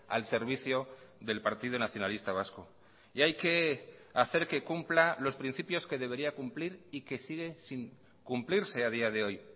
al servicio del partido nacionalista vasco y hay que hacer que cumpla los principios que debería cumplir y que sigue sin cumplirse a día de hoy